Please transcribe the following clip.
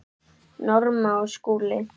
Norma og Skúli.